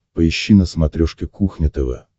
поищи на смотрешке кухня тв